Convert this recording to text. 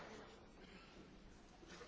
Meine sehr geehrten Damen und Herren!